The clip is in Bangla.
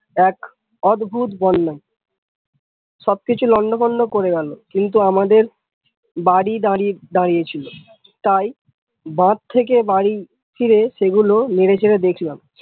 এক অদ্ভত বন্যা সব কিছু লন্ড ভন্ড করে গেল কিন্তু আমাদের বাড়ি দাড়িয়ে ছিল তাই বাঁধ থেকে বাড়ি ফিরে সেগুলু নেরে চেরে দেখলাম।